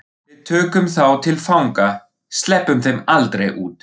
Við tökum þá til fanga. sleppum þeim aldrei út.